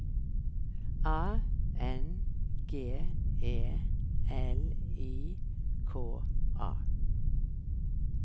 A N G E L I K A